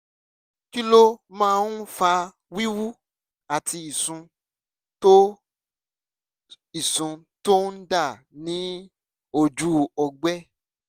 kí ló máa ń fa wíwú àti ìsun tó ìsun tó ń dà ní ojú ọgbẹ́?